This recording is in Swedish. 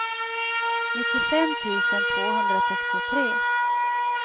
nittiofem tusen tvåhundrasextiotre